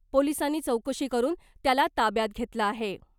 पोलीसांनी चौकशी करुन त्याला ताब्यात घेतलं आहे .